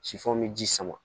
Sifan bɛ ji sama